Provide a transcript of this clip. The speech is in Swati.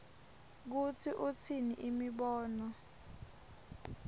kutsi utsini imibono